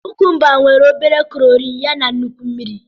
Kukumba nwere obere kalori yana nnukwu mmiri.